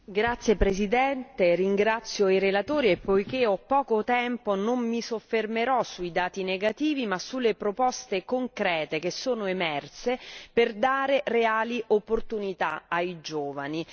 Signora Presidente, ringrazio i relatori e, avendo poco tempo a disposizione, non mi soffermerò sui dati negativi ma sulle proposte concrete che sono emerse per dare reali opportunità ai giovani.